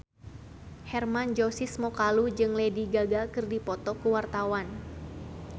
Hermann Josis Mokalu jeung Lady Gaga keur dipoto ku wartawan